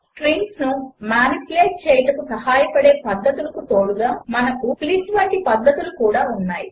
స్ట్రింగ్స్ను manipulate చేయుటకు సహాయపడే పద్ధతులకు తోడుగా మనకు స్ప్లిట్ వంటి పద్ధతులు కూడా ఉన్నాయి